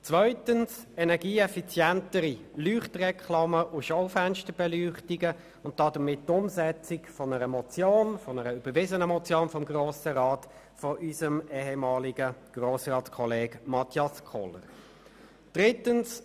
Zweitens behandeln sie energieeffizientere Leuchtreklamen und Schaufensterbeleuchtungen und setzen damit die vom Grossen Rat überwiesene Motion unseres ehemaligen Grossratskollegen Mathias Kohler um.